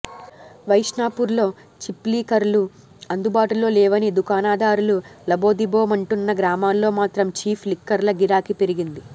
వైన్షాపుల్లో చీప్లిక్కర్లు అందుబాటులో లేవని దుకాణాదారులు లబోదిబోమంటున్న గ్రామాల్లో మాత్రం చీఫ్ లిక్కర్ల గిరాకీ పెరిగింది